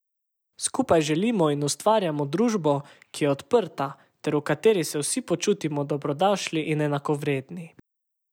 Skupaj želimo in ustvarjamo družbo, ki je odprta ter v kateri se vsi počutimo dobrodošli in enakovredni.